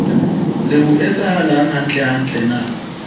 re ho etsahalang hantlentle na